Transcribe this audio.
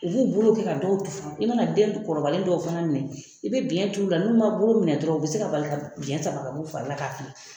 U b'u bolo kɛ ka dɔw tufan i mana den kɔrɔbayalen dɔw fana minɛ i bɛ biɲɛ turu u la n'u ma bolo minɛ dɔrɔn u bɛ se ka bali ka biɲɛ sama ka b'u fari la k'a fili